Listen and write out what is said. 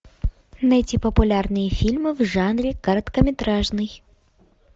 найти популярные фильмы в жанре короткометражный